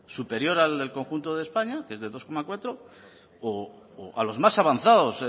superior al del conjunto de españa que es del dos coma cuatro o los más avanzados